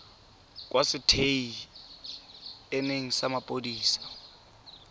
kwa setei eneng sa mapodisi